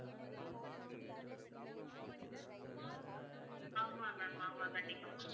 ஆமாம் ma'am ஆமாம் கண்டிப்பா